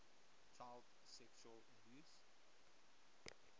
child sexual abuse